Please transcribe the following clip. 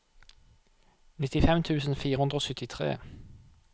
nittifem tusen fire hundre og syttitre